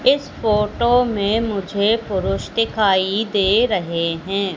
इस फोटो में मुझे पुरुष दिखाई दे रहे हैं।